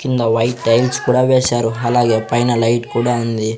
కింద white tiles కూడా వేశారు అలాగే పైన లైట్ కూడా ఉంది.